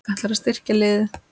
Ætlarðu að styrkja liðið meira?